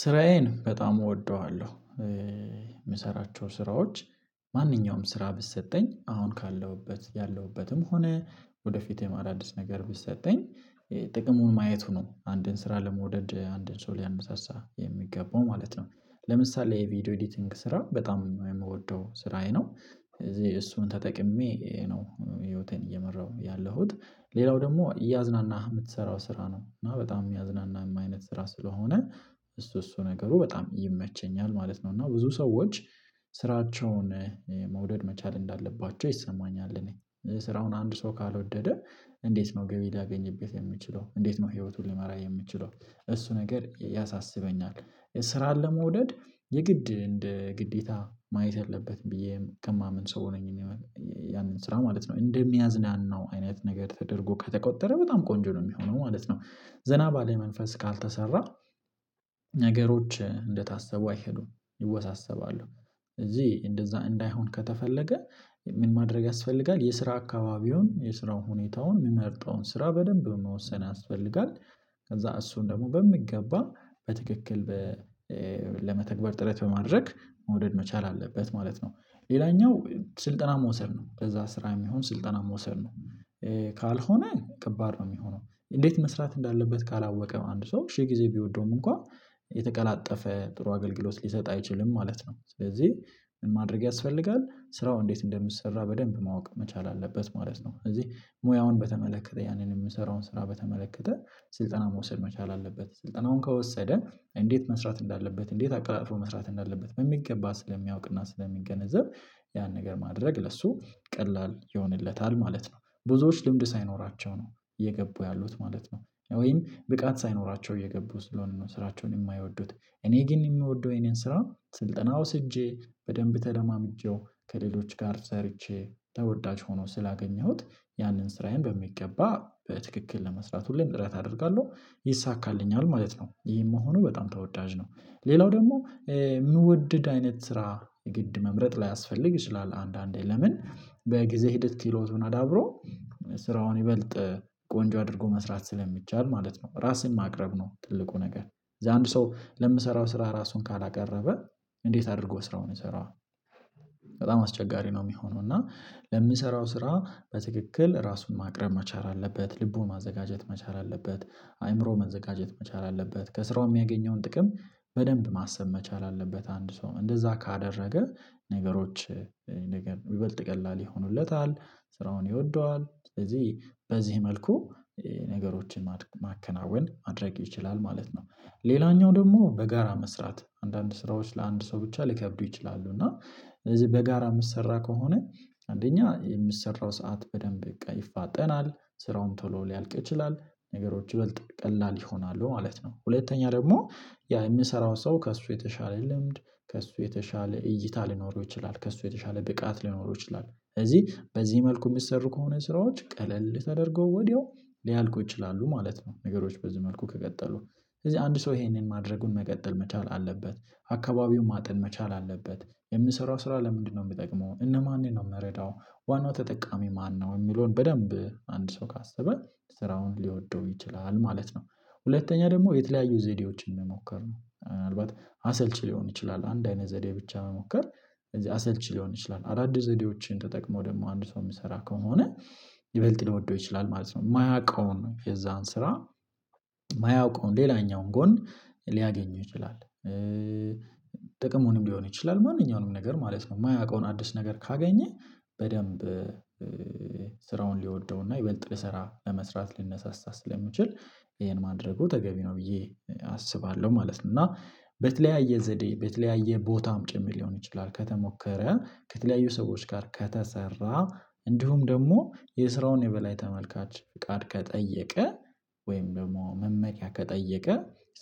ስራዬን በጣም እወደዋለሁ። የምሰራቸው ስራዎች ማንኛውም ስራ ብትሰጠኝ አሁን ካለሁበት ያለሁበትም ሆነ ወደፊት ወይም ወደፊት አደዲስ ነገር ቢሰጠኝ። ጥቅሙን ማየቱ ነው አንድን ስራ ለመውደድ አንድን ሰው ሊያነሳሳ የሚገባው ማለት ነው። ለምሳሌ የቪዲዮ ኤዲቲንግ ስራ በጣም ነው የምወደው ስራዬ ነው ስለዚህ እሱን ተጠቅሜ ነው ህይወቴን እየመራሁ ያለሁት። ሌላው ደግሞ እያዝናናህ የምትሰራው ስራ ነው እና በጣም የሚያዝናናም አይነት ስራ ስለሆነ። እሱ እሱ ነገሩ በጣም ይመቸኛል ማለት ነው። እና ብዙ ሰዎች ስራቸውን መውደድ መቻል እንዳለባቸው ይሰማኛል። እኔ ስራውን አንድ ሰው ካልወደደ እንዴት ነው ገቢ ሊያገኝበት የሚችለው እንዴት ነው ህይወቱን ሊመራ የሚችለው? እሱ ነገር ያሳስበኛል። ስራን ለመውደድ የግድ እንደ ግዴታ ማየት ያለበት ብዬ ከማምን ሰው ነኝ። ያንን ስራ ማለት ነው እንደሚያዝናናው አይነት ነገር ተደርጎ ከተቆጠረ በጣም ቆንጆ ነው የሚሆነው ማለት ነው። ዘና ባለ መንፈስ ካልተሰራ። ነገሮች እንደታሰቡ አይሄዱም ይወሳሰባሉ። እዚህ እንደዛ እንዳይሆን ከተፈለገ ምን ማድረግ ያስፈልጋል የስራ አካባቢውን የስራውን ሁኔታውን የሚመርጠውን ስራ በደንብ መወሰን ያስፈልጋል። ከዛ እሱን ደግሞ በሚገባ በትክክል ለመተግበር ጥረት በማድረግ መውደድ መቻል አለበት ማለት ነው። ሌላኛው ስልጠና መውሰድ ነው ለዛ ስራ የሚሆን ስልጠና መውሰድ ነው። ካልሆነ ከባድ ነው የሚሆነው እንዴት መስራት እንዳለበት ካላወቀ አንድ ሰው ሺህ ጊዜ ቢወደውም እንኳን የተቀላጠፈ ጥሩ አገልግሎት ሊሰጥ አይችልም ማለት ነው። ስለዚህ ማድረግ ያስፈልጋል ስራው እንዴት እንደሚሰራ በደንብ ማወቅ መቻል አለበት ማለት ነው። እዚህ ሙያውን በተመለከተ ያንን የምሰራውን ስራ በተመለከተ ስልጠና መውሰድ መቻል አለበት ስልጠናውን ከወሰደ እንዴት መስራት እንዳለበት እንዴት አቀላጥፎ መስራት እንዳለበት በሚገባ ስለሚያውቅና ስለሚገነዘብ ያን ነገር ማድረግ ለሱ ቀላል ይሆንለታል ማለት ነው። ብዙዎች ልምድ ሳይኖራቸው ነው እየገቡ ያሉት ማለት ነው ወይም ብቃት ሳይኖራቸው እየገቡ ስለሆነ ነው ስራቸውን የማይወዱት። እኔ ግን የምወደው የኔን ስራ ስልጠና ወስጄ በደንብ ተለማምጄው ከሌሎች ጋር ሰርቼ ተወዳጅ ሆኖ ስላገኘሁት ያንን ስራዬን በሚገባ በትክክል ለመስራት ሁሌም ጥረት አደርጋለሁ ይሳካልኛል ማለት ነው። ይሄም መሆኑ በጣም ተወዳጅ ነው። ሌላው ደግሞ የምወደድ አይነት ስራ የግድ መምረጥ ላይ ላያስፈልግ ይችላል አንዳንዴ ለምን በጊዜ ሂድት ክህሎቱን አዳብሮ ስራውን ይበልጥ ቆንጆ አድርጎ መስራት ስለሚቻል ማለት ነው። ራስን ማቅረብ ነው ትልቁ ነገር እዛ አንድ ሰው ለምሰራው ስራ ራሱን ካላቀረበ እንዴት አድርጎ ስራውን ይሰራዋል? በጣም አስቸጋሪ ነው የሚሆነው እና ለምሰራው ስራ በትክክል ራሱን ማቅረብ መቻል አለበት ልቡን ማዘጋጀት መቻል አለበት። አይምሮው መዘጋጀት መቻል አለበት ከስራው የሚያገኘውን ጥቅም በደንብ ማሰብ መቻል አለበት አንድ ሰው እንደዛ ካደረገ ነገሮች ይበልጥ ቀላል ይሆኑለታል። ስራውን ይወደዋል ስለዚህ በዚህ መልኩ ነገሮችን ማከናወን ማድረግ ይችላል ማለት ነው። ሌላኛው ደግሞ በጋራ መስራት አንዳንድ ስራዎች ለአንድ ሰው ብቻ ሊከብዱ ይችላሉ። እና ስለዚህ በጋራ የምሰራ ከሆነ አንደኛ የምትሰራው ሰዓት በደንብ በቃ ይፋጠናል ስራውም ቶሎ ሊያልቅ ይችላል ነገሮች ይበልጥ ቀላል ይሆናሉ ማለት ነው። ሁለተኛ ደግሞ ያ የምሰራውን ሰው ከእሱ የተሻለ ልምድ ከእሱ የተሻለ እይታ ሊኖረው ይችላል ከእሱ የተሻለ ብቃት ሊኖረው ይችላል ስለዚህ በዚህ መልኩ የሚሰሩ ከሆነ ስራዎች ቀለል ተደርገው ወዲያው ሊያልቁ ይችላሉ ማለት ነው። ነገሮች በዚህ መልኩ ከቀጠሉ ስለዚህ አንድ ሰው ይሄንን ማድረጉን መቀጠል መቻል አለበት። አካባቢውን ማጠን መቻል አለበት። የምሰራው ስራ ለምንድነው የሚጠቅመው እነማንን ነው የምረዳው? ዋናው ተጠቃሚ ማነው? የሚለውን በደንብ አንድ ሰው ካሰበ ስራውን ሊወደው ይችላል ማለት ነው። ሁለተኛ ደግሞ የተለያዩ ዘዴዎችን መሞከር ነው ምንአልባት አሰልቺ ሊሆን ይችላል አንድ አይነት ዘዴ ብቻ መሞከር እዚህ አሰልቺ ሊሆን ይችላል አዳዲስ ዘዴዎችን ተጠቅሞ ደግሞ አንዱ ሰው የሚሰራ ከሆነ ይበልጥ ሊወደው ይችላል ማለት ነው። የማያውቀውን የዛን ስራ የማያውቀውን ሌላኛውን ጎን ሊያገኙ ይችላል። ጥቅሙንም ሊሆኑ ይችላል ማንኛውንም ነገር ማለት ነው። የማያውቀውን አዲስ ነገር ካገኘ በደንብ ሊወደውና ይበልጥ ሊሰራ ለመስራት ሊነሳሳ ስለሚችል ይሄን ማድረጉ ተገቢ ነው ብዬ አስባለሁ ማለት ነው። እና በተለያየ ዘዴ በተለያየ ቦታም ጭምር ሊሆን ይችላል። ከተሞከረ ከተለያዩ ሰዎች ጋር ከተሰራ እንዲሁም ደግሞ የስራውን የበላይ ተመልካች ፍቃድ ከጠየቀ ወይም ደግሞ መመሪያ ከጠየቀ